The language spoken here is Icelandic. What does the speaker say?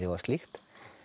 og slíkt